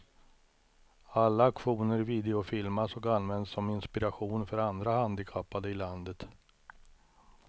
Alla aktioner videofilmas och används som inspiration för andra handikappade i landet.